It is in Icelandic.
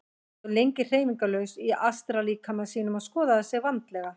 Hann stóð lengi hreyfingarlaus í astrallíkama sínum og skoðaði sig vandlega.